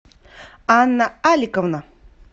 анна аликовна